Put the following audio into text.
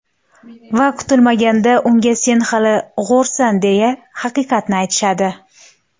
Va kutilmaganda unga: sen hali g‘o‘rsan, deya haqiqatni aytishadi.